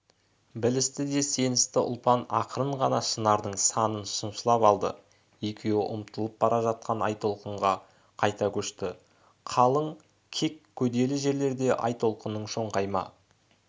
білісті де сеністі ұлпан ақырын ғана шынардың санын шымшып алды екеуі ұмытылып бара жатқан айтолқынға қайта көшті қалың кек көделі жерлерде айтолқынның шоңқайма